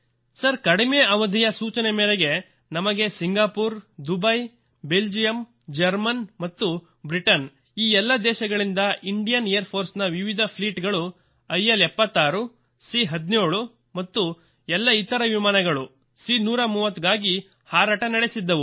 sir ಕಡಿಮೆ ಅವಧಿಯ ಸೂಚನೆ ಮೇರೆಗೆ ನಮಗೆ ಸಿಂಗಪೂರ್ ದುಬೈ ಬೆಲ್ಜಿಯಂ ಜರ್ಮನ್ ಮತ್ತು ಬ್ರಿಟನ್ ಈ ಎಲ್ಲ ದೇಶಗಳಿಂದ ಇಂಡಿಯನ್ ಏರ್ ಫೋರ್ಸ್ ನ ವಿವಿಧ ಫ್ಲೀಟ್ ಗಳು Iಐ76 ಅ17 ಮತ್ತು ಎಲ್ಲ ಇತರ ವಿಮಾನಗಳು ಅ130 ಗಾಗಿ ಹಾರಾಟ ನಡೆಸಿದ್ದವು